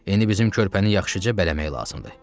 İndi bizim körpəni yaxşıca bələmək lazımdır.